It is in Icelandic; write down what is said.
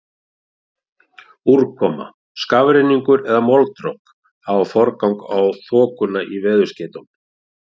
Úrkoma, skafrenningur eða moldrok hafa forgang á þokuna í veðurskeytum.